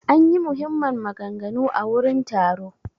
An ƴi muhimman maganganu a wurin taro.